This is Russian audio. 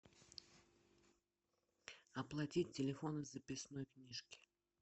оплатить телефон из записной книжки